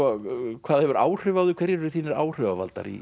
hvað hefur áhrif á þig hverjir eru þínir áhrifavaldar í